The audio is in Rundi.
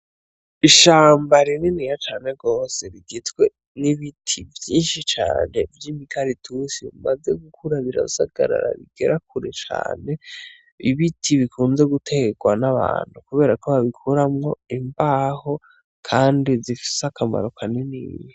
Ishamba rininiya cane gose rigizwe n' ibiti vyinshi cane vy' imikaratusi bimaze gukura birasagarara bigera kure cane ibiti bikunze gutegwa n' abantu kubera ko babikuramwo imbaho kandi zifise akamaro kanini.